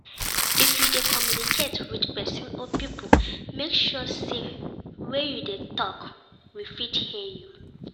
If you de communicate with persin or pipo make sure say wey you de talk with fit hear you